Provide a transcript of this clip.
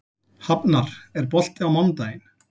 Hafnar, er bolti á mánudaginn?